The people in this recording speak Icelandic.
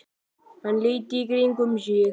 Hann leit í kringum sig.